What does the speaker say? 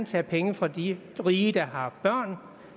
tage penge fra de rige der har børn